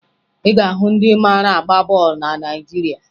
Ị ga-ahụ ndị mara agba bọọlụ na Naịjirịa